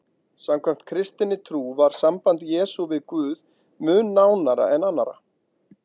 Samkvæmt kristinni trú var samband Jesú við Guð mun nánara en annarra.